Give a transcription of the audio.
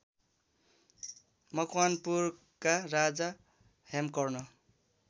मकवानपुरका राजा हेमकर्ण